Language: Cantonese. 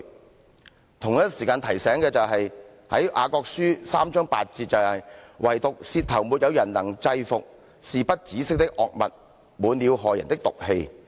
我同時也要提醒，《雅各書》第三章8節提到"惟獨舌頭沒有人能制伏，是不止息的惡物，滿了害人的毒氣。